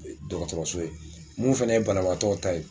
Dɔgɔtɔrɔso ye mun fɛnɛ ye banabaatɔw ta ye